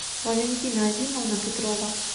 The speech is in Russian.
валентина азимовна петрова